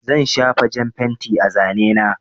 Zan shafa jan fenti a zane na.